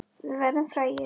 Við verðum frægir.